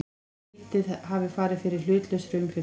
Lítið hafi farið fyrir hlutlausri umfjöllun